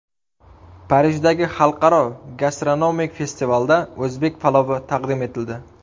Parijdagi xalqaro gastronomik festivalda o‘zbek palovi taqdim etildi .